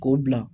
K'o bila